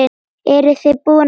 Eru þið búin að velja?